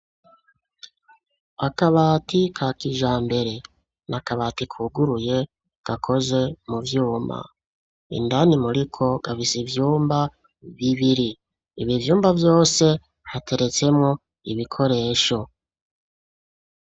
Akabati ka kijambere, n'akabati kuguruye gakoze mu vyuma, indani muriko gafise ivyumba bibiri, ibi vyumba vyose hateretsemwo ibikoresho.